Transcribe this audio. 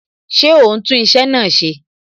Ṣé o ń tún iṣẹ́ náà ṣe?